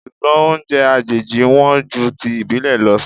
Ṣùgbọ́n oúnjẹ àjèjì wọn ju ti ìbílè lọ o.